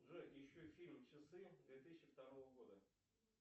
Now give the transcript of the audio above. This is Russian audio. джой еще фильм часы две тысячи второго года